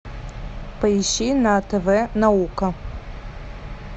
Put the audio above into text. поищи на тв наука